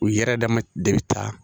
U yɛrɛ dama de bɛ taa